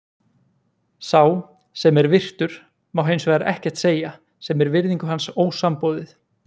Sá, sem er virtur, má hins vegar ekkert segja, sem er virðingu hans ósamboðið.